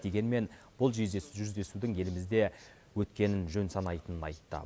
дегенмен бұл жүздесудің елімізде өткенін жөн санайтынын айтты